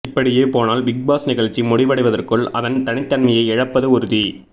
இப்படியே போனால் பிக்பாஸ் நிகழ்ச்சி முடிவடைவதற்குள் அதன் தனித்தன்மையை இழப்பது உறுதி